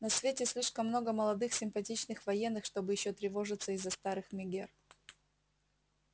на свете слишком много молодых симпатичных военных чтобы ещё тревожиться из-за старых мегер